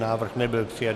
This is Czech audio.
Návrh nebyl přijat.